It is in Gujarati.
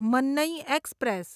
મન્નઈ એક્સપ્રેસ